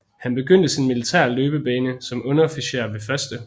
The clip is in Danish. Han begyndte sin militære løbebane som underofficer ved 1